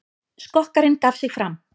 Skokkarinn gaf sig fram